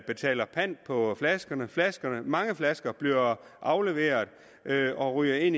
betaler pant på flaskerne flaskerne mange flasker bliver afleveret og ryger ind